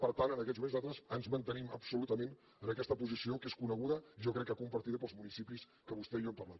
per tant en aquests moments nosaltres ens mantenim absolutament en aquesta posició que és coneguda i jo crec que compartida pels municipis que vostè i jo hem parlat